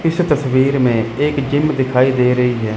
इस तस्वीर में एक जिम दिखाई दे रही है।